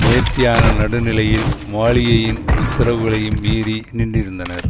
நேர்த்தியான நடுநிலையில் மாளிகையின் உத்தரவுகளையும் மீறி நின்றிருந்தனர்